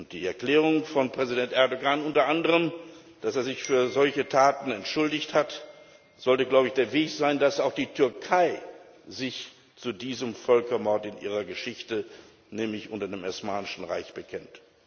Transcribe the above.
Die Erklärung von Präsident Erdogan unter anderem, dass er sich für solche Taten entschuldigt hat, sollte der Weg sein, dass sich auch die Türkei zu diesem Völkermord in ihrer Geschichte, nämlich unter dem Osmanischen Reich, bekennt.